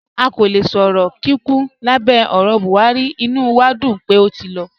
À kò lẹ̀ sọ̀rọ̀ ní kíkún lábẹ̀ ọ̀rọ̀ Buhari, ìnú wà dún pé ó ti lọ.